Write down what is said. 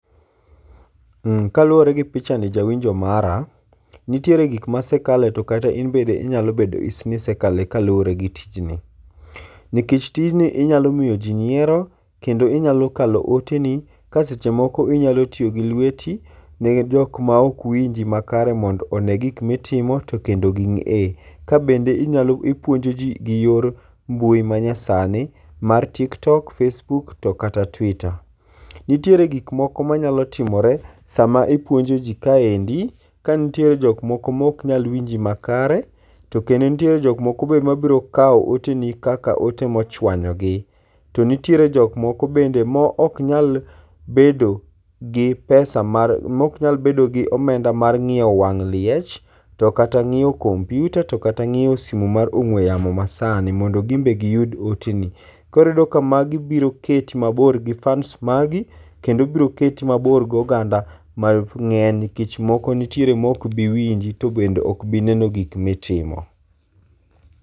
Kaluwore gi pichani jawinjo mara, nitiere gik masekale tokata in bende inyalo bedo ni isekale kaluwore gi tijni. Nikech tijni inyalo miyo ji nyiero kendo inyalo kalo oteni, ka seche moko inyalo tiyo gi lweti ne jok maok winji makare mondo one gik mitimo to kendo ging'e. Kabende inyal ipuonjo ji gi yor mbui ma nyasani mar tik tok, face book to kata twiter. Nitiere gik moko manyalo timore sama ipuonjoji kaendi. Ka nitiere jok moko maok nyal winji makare, to kendo nitie jok moko mabiro kawo oteni kaka ote mochuanyogi. To nitiere jok moko bende maok nyal bedo gi pesa mar maok nyal bedo gi omenda mar ng'iewo wang' liech, to kata ng'iewo kompiuta to kata ng'iewo sime mar ong'ue yamo masani mondo gin be giyud oteni. Koro iyudo ka magi biro keti mabor gi fans magi, kendo biro keti mabor goganda mang'eny nikech moko nitie maok bi winji, to bende ok bi neno gik mitimo.